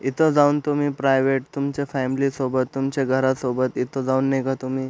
इथ जाऊन तुम्ही प्राइवेट तुमच्या फॅमिली सोबत तुमच्या घरासोबत इथ जाऊन नाय का तुम्ही--